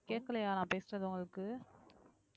கேட்கலையா நான் பேசுறது உங்களுக்கு